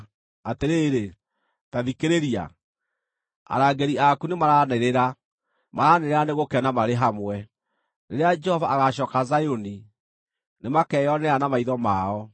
Atĩrĩrĩ, ta thikĩrĩria! Arangĩri aku nĩmaranĩrĩra; maranĩrĩra nĩ gũkena marĩ hamwe. Rĩrĩa Jehova agaacooka Zayuni, nĩmakeyonera na maitho mao.